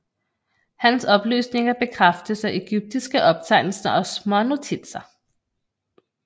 Hans oplysninger bekræftes af egyptiske optegnelser og smånotitser